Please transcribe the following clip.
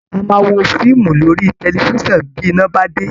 A máa wo fíìmù lórí tẹlifiṣan bí iná bá dé